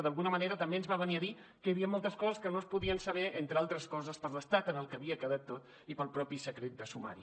d’alguna manera també ens va venir a dir que hi havia moltes coses que no es podien saber entre altres coses per l’estat en el que havia quedat tot i pel mateix secret de sumari